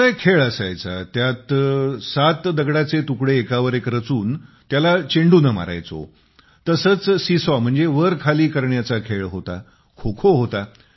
जसा एक खेळ असायचा ज्यात सात दगडाचे तुकडे एकावर एक रचून त्याला चेंडूने मारायचो तसेच सीसॉ वरखाली करण्याचा खेळ होता खोखो होता